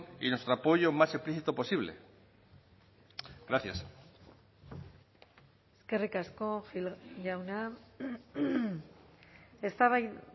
y nuestro apoyo más explícito posible gracias eskerrik asko gil jauna eztabaida